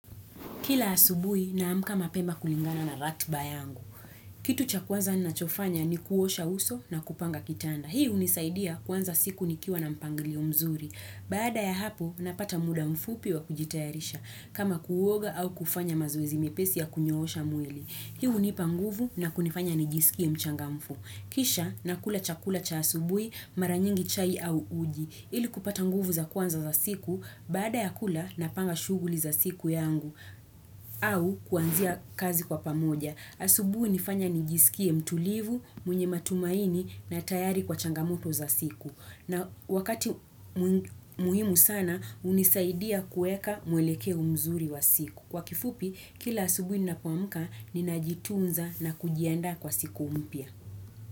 Kila asubuhi na amka mapema kulingana na ratiba yangu. Kitu cha kwanza nina chofanya ni kuosha uso na kupanga kitanda. Hii hunisaidia kuanza siku nikiwa na mpangilio mzuri. Baada ya hapo napata muda mfupi wa kujitayarisha. Kama kuoga au kufanya mazoezi mepesi ya kunyoosha mwili. Hii hunipanguvu na kunifanya nijisikie mchanga mfu. Kisha na kula chakula cha asubuhi maranyingi chai au uji. Ili kupata nguvu za kwanza za siku. Baada ya kula napanga shughuli za siku yangu. Au kuanzia kazi kwa pamoja. Asubuhi hunifanya nijisikie mtulivu, mwenye matumaini na tayari kwa changamoto za siku. Na wakati muhimu sana, hunisaidia kuweka mwelekeo mzuri wa siku. Kwa kifupi, kila asubuhi nina poamka, ninajitunza na kujiandaa kwa siku mpya.